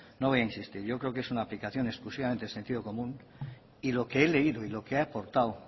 no voy a insistir yo creo que es una aplicación exclusivamente de sentido común y lo que he leído y lo que he aportado